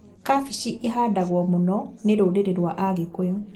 Kabici ihandagwo mũno nĩ rũrĩrĩ rwa Agĩkũyũ